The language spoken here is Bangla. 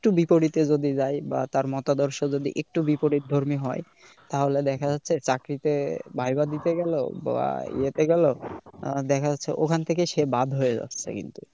বিপরীতে যদি যাই বা তার মতাদর্শ যদি একটু বিপরীতধর্মী হয় তাহলে দেখা যাচ্ছে চাকরিতে VIVA দিতে গেল বা ইয়েতে গেল আহ দেখা যাচ্ছে ওখান থেকে সে বাদ হয়ে যাচ্ছে কিন্তু।